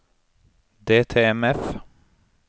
DTMF